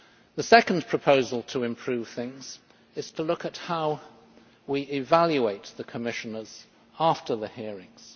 The second proposal to improve things is to look at how we evaluate the Commissioners after the hearings.